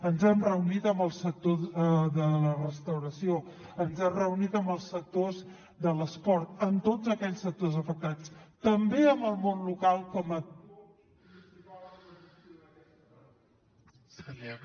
ens hem reunit amb el sector de la restauració ens hem reunit amb els sectors de l’esport amb tots aquells sectors afectats també amb el món local com a